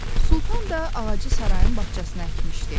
Sultan da ağacı sarayın bağçasına əkmişdi.